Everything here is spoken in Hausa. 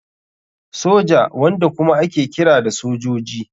Soja, wanda kuma ake kira da sojoji.